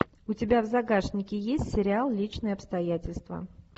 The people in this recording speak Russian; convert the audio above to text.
у тебя в загашнике есть сериал личные обстоятельства